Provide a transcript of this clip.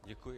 Děkuji.